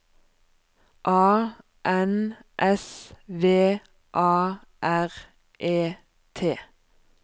A N S V A R E T